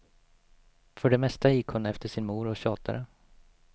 För det mesta gick hon efter sin mor och tjatade.